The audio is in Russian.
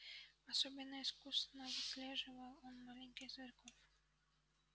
особенно искусно выслеживал он маленьких зверьков